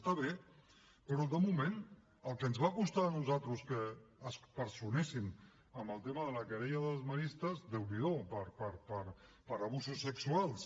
està bé però de moment el que ens va costar a nosaltres que es personessin en el tema de la querella dels maristes déu n’hi do per abusos sexuals